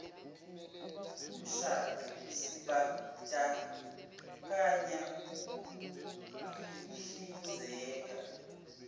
mshado sibandakanya ukuyihlinzeka